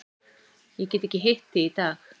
Ég get ekki hitt þig í dag.